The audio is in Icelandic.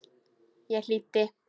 Ég hlýddi.